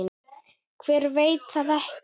Hver veit það ekki?